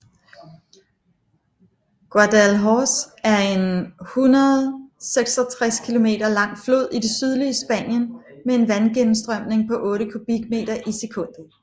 Guadalhorce er en 166 kilometer lang flod i det sydlige Spanien med en vandgennemstrømning på 8 kubikmeter i sekundet